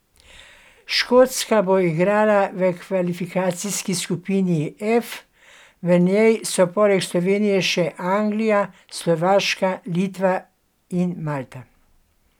Škotska bo igrala v kvalifikacijski skupini F, v njej so poleg Slovenije še Anglija, Slovaška, Litva in Malta.